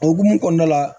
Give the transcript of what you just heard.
O hokumu kɔnɔna la